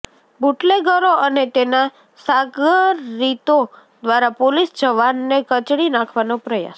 બુટલેગરો અને તેના સાગરીતો દ્વારા પોલીસ જવાનને કચડી નાખવાનો પ્રયાસ